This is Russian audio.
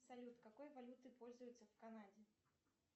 салют какой валютой пользуются в канаде